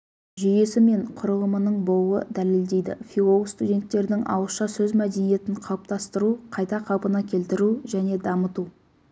жүйесі мен құрылымының болуы дәлелдейді филолог-студенттердің ауызша сөз мәдениетін қалыптастыру қайта қалпына келтіру және дамыту